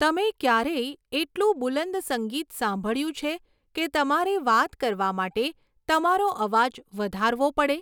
તમે ક્યારેય એટલું બુલંદ સંગીત સાંભળ્યું છે કે તમારે વાત કરવા માટે તમારો અવાજ વધારવો પડે?